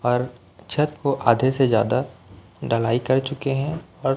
पर छत को आधे से ज्यादा ढलाई कर चुके हैं और--